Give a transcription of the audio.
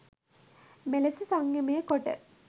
මෙලෙස සංයමය කොට